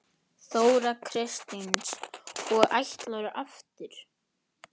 Þóra Kristín: Og ætlarðu aftur?